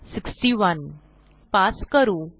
61 pass करू